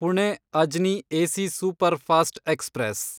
Pune Ajni AC superfast express